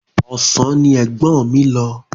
Ọ̀sán ni ẹ̀gbọ́n mi lọ.